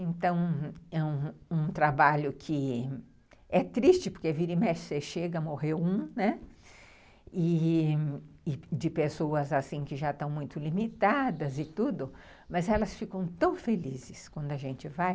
Então, ãh, é um trabalho que é triste, porque vira e mexe, você chega, morreu um, e de pessoas assim que já estão muito limitadas e tudo, mas elas ficam tão felizes quando a gente vai.